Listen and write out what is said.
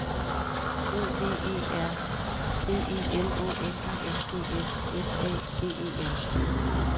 O V E R B E L Å N I N G S S A G E R